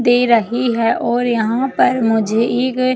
दे रही है और यहाँ पर मुझे एक--